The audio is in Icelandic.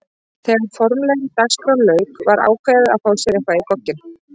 Þegar formlegri dagskrá lauk var ákveðið að fá sér eitthvað í gogginn.